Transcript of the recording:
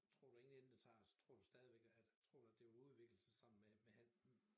Tror du ingen ende det tager altså tror du stadigvæk at tror du at det vil udvikle sig sammen med at